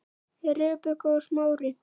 Rebekka og Smári.